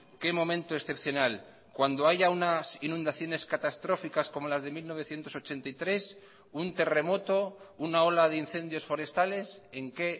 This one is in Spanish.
qué momento excepcional cuándo haya unas inundaciones catastróficas como las de mil novecientos ochenta y tres un terremoto una ola de incendios forestales en qué